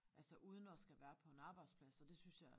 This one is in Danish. Altså uden at skal være på en arbejdsplads og det synes jeg